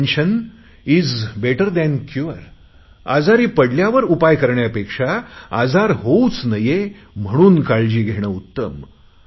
prevention is better than cure आजारी पडल्यावर उपाय करण्यापेक्षा आजार होऊच नये म्हणून काळजी घेणे उत्तम